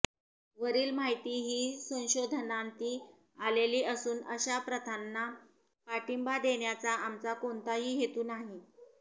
वरील माहिती ही संशोधनाअंती आलेली असून अशा प्रथांना पाठिंबा देण्याचा आमचा कोणताही हेतु नाही